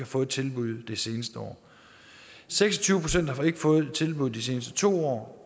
fået et tilbud det seneste år seks og tyve procent har ikke fået et tilbud de seneste to år